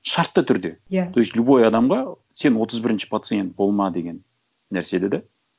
шартты түрде иә то есть любой адамға сен отыз бірінші пациент болма деген нәрсені де